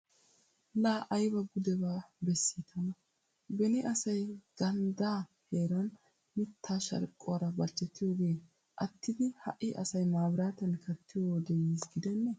Laa ayba gudebaa bessii tana. Beni asay ganddaa heeran mittaa sharqquwara barchchetiyogee attidi ha"i asay maabiraatiyan kattiyo wodee yiisi gidennee!